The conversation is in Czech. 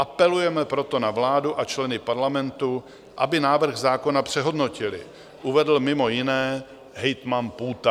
Apelujeme proto na vládu a členy Parlamentu, aby návrh zákona přehodnotili," uvedl mimo jiné hejtman Půta.